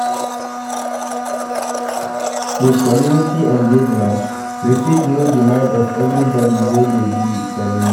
With community engagement, we fit know di mind of everybody wey dey di community